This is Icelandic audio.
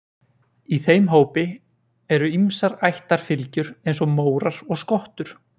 Í þeim hópi eru ýmsar ættarfylgjur eins og mórar og skottur.